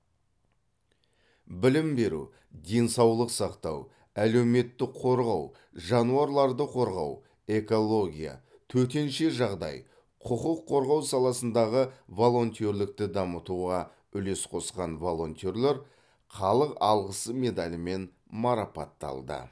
білім беру денсаулық сақтау әлеуметтік қорғау жануарларды қорғау экология төтенше жағдай құқық қорғау саласындағы волонтерлікті дамытуға үлес қосқан волонтерлер халық алғысы медалімен марапатталды